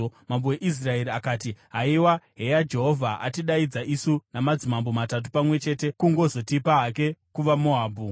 Mambo weIsraeri akati, “Haiwa! Heya Jehovha atidaidza isu madzimambo matatu pamwe chete kungozotipa hake kuvaMoabhu?”